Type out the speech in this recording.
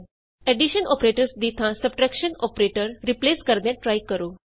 edition operators ਦੀ ਥਾਂ subtraction operators replace ਕਰਦਿਆਂ ਟਰਾਈ ਕਰੋ